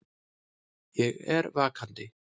Ég er vakandi.